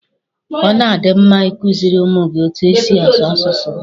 Ọ na-adi mma i kuziri ụmụ gị etu e si asụ asụsụ ha